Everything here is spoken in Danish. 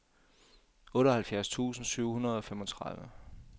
otteoghalvfjerds tusind syv hundrede og femogtredive